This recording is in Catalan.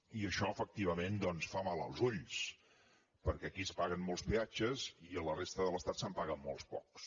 i això efectivament doncs fa mal als ulls perquè aquí es paguen molts peatges i a la resta de l’estat se’n paguen molt pocs